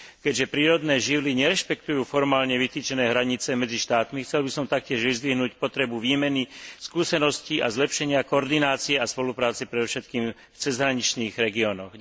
Keďže prírodné živly nerešpektujú formálne vytýčené hranice medzi štátmi, chcel by som taktiež vyzdvihnúť potrebu výmeny skúseností a zlepšenia koordinácie a spolupráce predovšetkým v cezhraničných regiónoch.